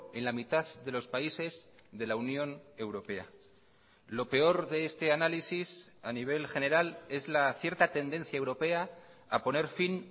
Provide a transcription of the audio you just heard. en la mitad de los países de la unión europea lo peor de este análisis a nivel general es la cierta tendencia europea a poner fin